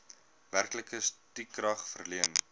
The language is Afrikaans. werklike stukrag verleen